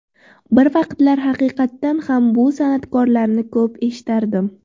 Bir vaqtlar haqiqatan ham bu san’atkorlarni ko‘p eshitardim.